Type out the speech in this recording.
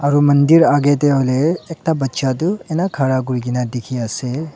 Aro mandir agey dey huiley ekta baccha du ena khara kurigina dikhi asey.